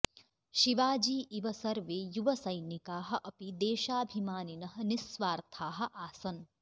शिवाजी इव सर्वे युवसैनिकाः अपि देशाभिमानिनः निस्वार्थाः आसन्